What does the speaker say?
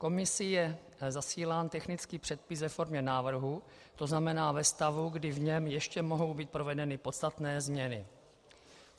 Komisí je zasílán technický předpis ve formě návrhu, to znamená ve stavu, kdy v něm ještě mohou být provedeny podstatné změny.